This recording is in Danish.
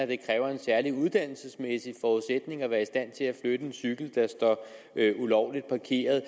det kræver en særlig uddannelsesmæssig forudsætning at være i stand til at flytte en cykel der står ulovligt parkeret